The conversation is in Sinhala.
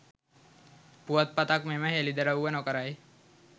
පුවත්පතක් මෙම හෙළිදරව්ව නොකරයි